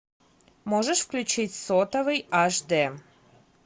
можешь включить сотовый ашдэ